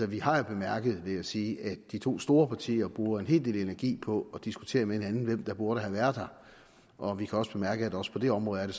vi har jo bemærket vil jeg sige at de to store partier bruger en hel del energi på at diskutere med hinanden hvem der burde have været der og vi kan også bemærke at også på det område er det